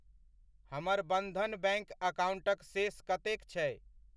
हमर बधन बैङ्क अकाउण्टक शेष कतेक छै?